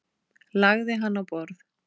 Lagði hann á borð.